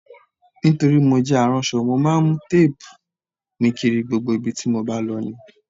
Nítorí mo jẹ aránṣọ, mo máa ń mu téèbù mi kiri gbogbo ibi tí mo bá lọ ní